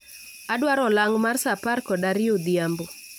Adwaro olang' mar saa apar kod ariyo odhiambo